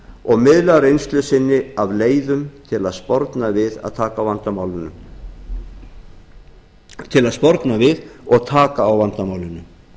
og miðla reynslu sinni af leiðum til að sporna við og taka á vandamálinu